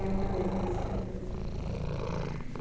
Ah, é uma delícia.